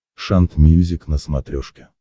шант мьюзик на смотрешке